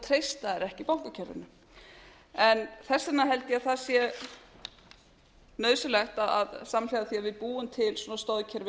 þeir ekki bankakerfinu þess vegna held ég að það sé nauðsynlegt að samhliða því að við búum til svona stoðkerfi